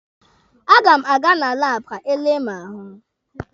A ga m aga na laabụ ka e lee mụ ahụ.